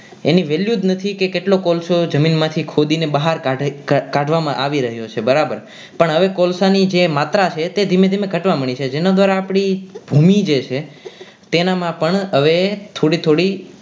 એની value જ નથી કે કેટલો કોલસો જમીનમાંથી ખોદીને બહાર કાઢવો કાઢવામાં આવી રહ્યો છે બરાબર પણ હવે જે કોલસાની માત્રા છે જે ધીમે ધીમે ઘટવા માંડી છે જેના દ્વારા આપણી ભૂમિ જે છે તેનામાં પણ હવે થોડી થોડી